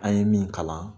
An ye min kalan